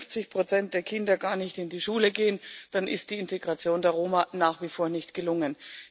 Wenn 50 der Kinder gar nicht in die Schule gehen, dann ist die Integration der Roma nach wie vor nicht gelungen.